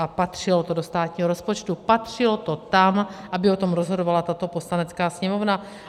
A patřilo to do státního rozpočtu, patřilo to tam, aby o tom rozhodovala tato Poslanecká sněmovna.